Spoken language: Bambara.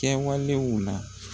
Kɛwalew la.